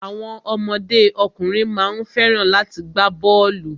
Àwọn ọmọdé ọkùnrin má ń fẹ́ràn láti gbá bọ́ọ̀lù.